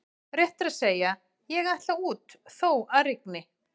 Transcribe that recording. Rétt er að segja: ég ætla út þó að rigni